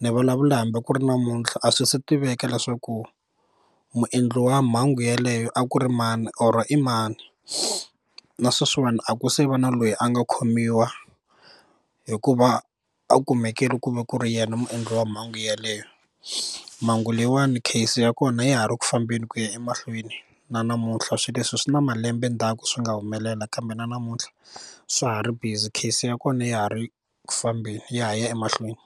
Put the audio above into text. ni vulavula hambi ku ri namuntlha a swi se tiveka leswaku muendli wa mhangu yeleyo a ku ri mani or i mani na sweswiwani a ku se va na loyi a nga khomiwa hikuva a kumekile ku va ku ri yena muendli wa mhangu yaleyo mhangu leyiwani case ya kona ya ha ri ku fambeni ku ya emahlweni na namuntlha swilo leswi swi na malembe ndzhaku swi nga humelela kambe na namuntlha swa ha ri busy case ya kona ya ha ri ku fambeni ya ha ya emahlweni.